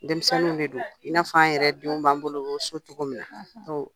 Denmisɛnninw de don i n'a fɔ an yɛrɛ denw b'an bolo so cogo min na